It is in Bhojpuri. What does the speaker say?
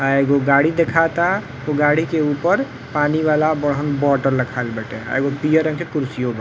आ एगो गाड़ी देखाता। उ गाड़ी के ऊपर पानी वाला बड़हन बोटल रखाइल बाटे। आ एगो पियर रंग के कुर्सियों बा।